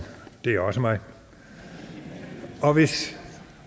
det er også mig hvis